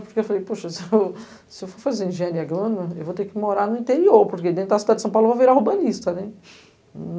Porque eu falei, poxa, se eu se eu for fazer engenharia grana, eu vou ter que morar no interior, porque dentro da cidade de São Paulo eu vou virar urbanista, né?